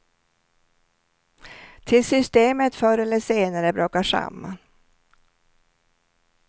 Tills systemet förr eller senare brakar samman.